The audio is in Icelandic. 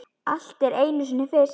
Allt er einu sinni fyrst.